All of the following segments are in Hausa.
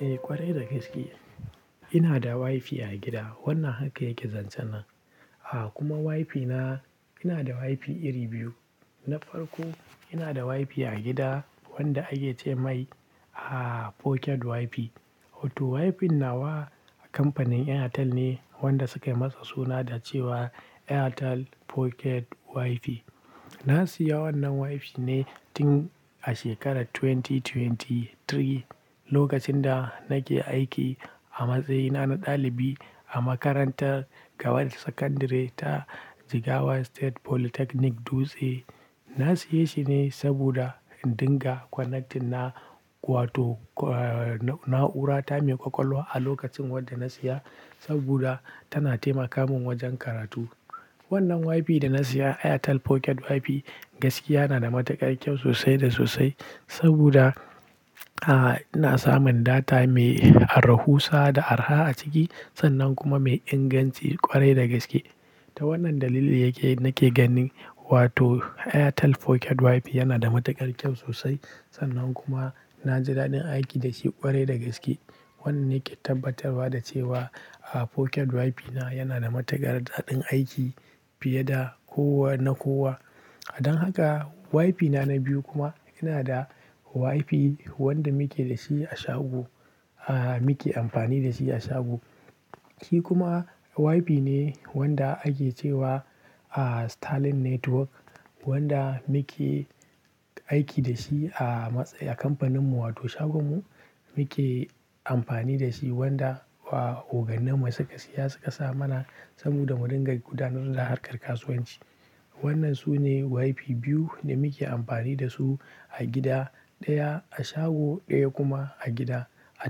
Eh ƙwarai da gaske, ina da WiFi a gida, wannan haka yake zancen nan. A kuma WiFi na, ina da WiFi iri biyu, na farko ina da WiFi a gida wanda ake ce mai Pocket WiFi. Wato WiFi nawa a kamfanin Airtel ne wanda suka masa suna da cewa Airtel Pocket WiFi. Na siya wannan WiFi ne tun a shekarar 2023, lokacin da nake aiki a matsayina na ɗalibi a makarantar gaba da sakandare ta Jigawa State Polytechnic Dutse, na siye shi ne saboda in dinga connecting na wato na'ura ta mai ƙwaƙwalwa a lokacin wanda na siya saboda tana taimaka min wajen karatu. Wannan WiFi da na siya Airtel Pocket WiFi, gaskiya na da matuƙar kyau sosai da sosai, saboda, a ina samun data mai arahusa da araha a ciki, sannan kuma mai inganci ƙwarai da gaske. Ta wannan dalili yake nake ganin wato Airtel Pocket WiFi yana da matuƙar kyau sosai, sannan kuma na ji daɗin aiki da shi ƙwarai da gaske. Wannan nake tabbatarwa da cewa Pocket WiFi na yana da matuƙar daɗin aiki fiye da kowa na kowa. Don haka WiFi na na biyu kuma, ina da WiFi wanda muke da shi a shago, ah muke amfani da shi a shago. Shi kuma WiFi ne wanda ake cewa Starlink Network, wanda muke, aiki da shi a matsayin, a kamfaninmu wato shagonmu, muke amfani da shi, wanda ogannin mu suka siya suka sa mana, saboda mu dinga gudanar da harkar kasuwanci. Wannan su ne WiFi biyu da muke amfani da su a gida, ɗaya a shago ɗaya kuma a gida a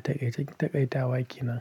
taƙaicen taƙaitawa kenan.